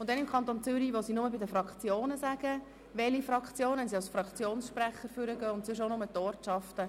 Im Kanton Zürich wird die Fraktion nur genannt, wenn jemand als Fraktionssprecher am Rednerpult steht, und sonst sagt man auch nur die Ortschaften.